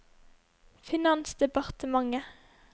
finansdepartementet